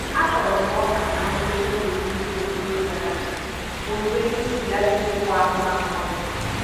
A kụrụ m ọka na ngwụcha oge mmiri ozuzo gara aga, owuwe ihe ubi adịghịkwa mma ma ọlị.